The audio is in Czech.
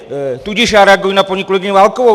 Tudíž já reaguji na paní kolegyni Válkovou.